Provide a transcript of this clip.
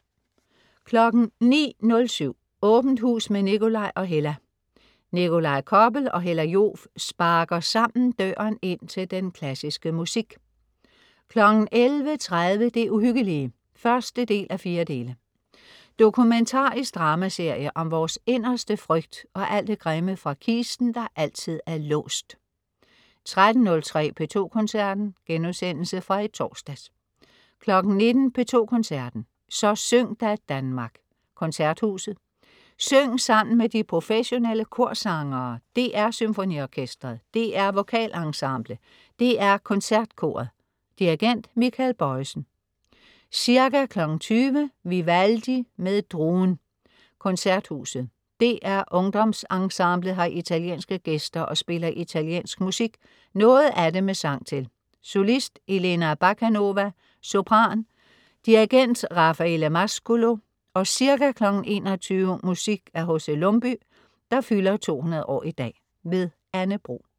09.07 Åbent hus med Nikolaj og Hella. Nikolaj Koppel og Hella Joof sparker sammen døren ind til den klassiske musik 11.30 Det Uhyggelige 1:4. Dokumentarisk drama-serie om vores inderste frygt og alt det grimme fra kisten, der altid er låst 13.03 P2 Koncerten.* Genudsendelse fra i torsdags 19.00 P2 Koncerten. Så syng da, Danmark. Koncerthuset. Syng sammen med de professionelle korsangere. DR SymfoniOrkestret, DR VokalEnsemble, DR KoncertKoret. Dirigent Michael Bojesen. Ca. 20.00 Vivaldi med DRUEN. Koncerthuset. DR UngdomsEnsemblet har italienske gæster og spiller italiensk musik, noget af det med sang til. Solist: Elena Bakanova, sopran. Dirigent: Raffaele Mascolo. Ca. 21.00 Musik af H.C. Lumbye, der fylder 200 år i dag. Anne Bro